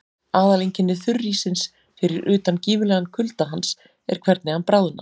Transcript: Aðaleinkenni þurríssins, fyrir utan gífurlegan kulda hans, er hvernig hann bráðnar.